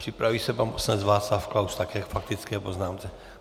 Připraví se pan poslanec Václav Klaus, také k faktické poznámce.